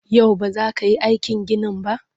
Yau ba za ka yi aikin ginin ba?